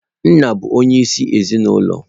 Nna bụ onyeisi ezinụlọ.